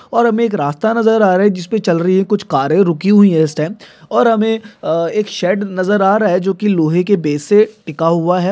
और हमे एक रास्ता नजर आ रहा है जिसपे चल रही है कुछ कारे रुकी हुई है इस टाइम | और हमे अ एक शैड नजर आ रहा है जोकि लोहे के बेस से टीका हुआ है।